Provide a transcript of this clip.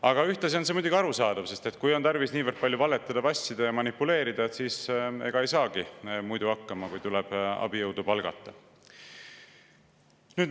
Aga ühtlasi on see muidugi arusaadav, sest kui on tarvis niivõrd palju valetada, vassida ja manipuleerida, siis ega ei saagi muidu hakkama, kui tuleb abijõudu palgata.